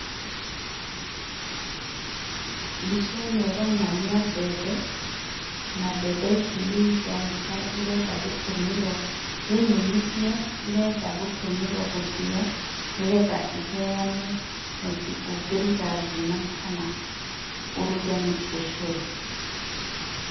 Mbica ĩno ĩronania mbembe na mbembe ici nĩ ironeka irenda gũtũmĩrwo. Nĩ nyũmithie irenda gũtũmĩrwo gũthĩyo nĩgetha iheyane mũtu ũngĩruga ngima kana ũruge ũcurũ.